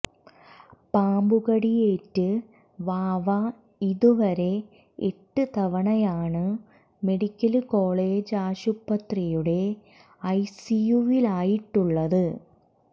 പാമ്പുകടിയേറ്റ് വാവ ഇതുവരെ എട്ട് തവണയാണു മെഡിക്കല് കോളേജാശുപത്രിയുടെ ഐ സി യുവിലായിട്ടുള്ളത്